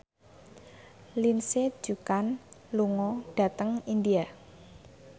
Lindsay Ducan lunga dhateng India